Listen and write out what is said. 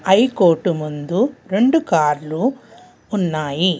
High court ముందు రెండు కార్లు ఉన్నాయి.